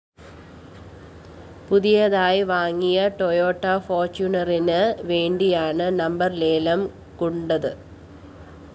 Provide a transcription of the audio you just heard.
പുതിയതായി വാങ്ങിയ ടൊയോറ്റ ഫോര്‍റ്റിയൂണറിന് വേണ്ടിയാണ് നമ്പർ ലേലം കൊണ്ടത്